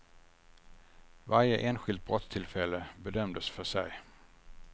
Varje enskilt brottstillfälle bedömdes för sig.